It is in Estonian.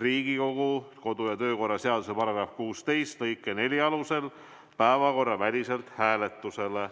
Riigikogu kodu- ja töökorra seaduse § 16 lõike 4 alusel päevakorraväliselt hääletusele.